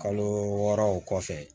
Kalo wɔɔrɔ o kɔfɛ